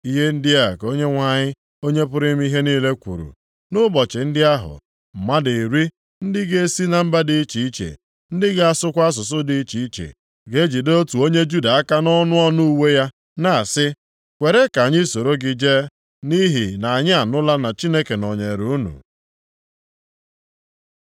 Ihe ndị a ka Onyenwe anyị, Onye pụrụ ime ihe niile kwuru, “Nʼụbọchị ndị ahụ, mmadụ iri, ndị ga-esi na mba dị iche iche, ndị na-asụkwa asụsụ dị iche iche, ga-ejide otu onye Juda aka nʼọnụ ọnụ uwe ya na-asị, ‘Kwere ka anyị soro gị jee, nʼihi na anyị anụla na Chineke nọnyeere unu.’ ”